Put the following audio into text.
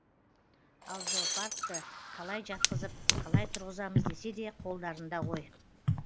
ал зоопаркті қалай жатқызып қалай тұрғызамыз десе де қолдарында ғой